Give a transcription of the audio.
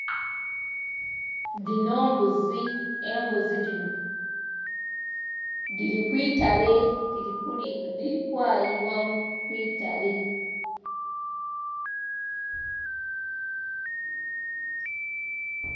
Dhino mbuzi embuzi dhino dhiri kwiitale dhiri kwayibwa kwiitale.